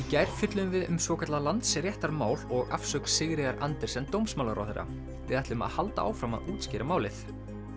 gær fjölluðum við um svokallað Landsréttarmál og afsögn Sigríðar Andersen dómsmálaráðherra við ætlum að halda áfram að útskýra málið